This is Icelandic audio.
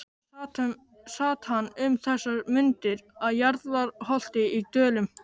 Sat hann um þessar mundir að Hjarðarholti í Dölum.